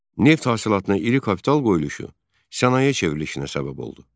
Neft hasilatına iri kapital qoyuluşu sənaye çevrilişinə səbəb oldu.